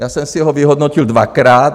Já jsem si ho vyhodnotil dvakrát.